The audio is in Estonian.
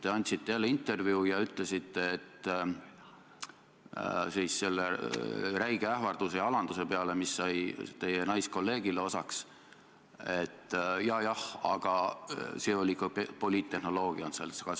Te andsite jälle intervjuu ja ütlesite selle räige ähvarduse ja alanduse peale, mis teie naiskolleegile osaks sai, et jajah, aga see on seotud ka poliittehnoloogiaga.